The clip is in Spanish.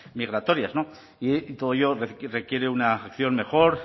migratorias no y todo ello requiere una acción mejor